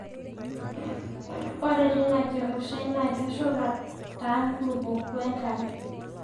Ore teina kirrushai naa keshula taa nkulupuok we nkare.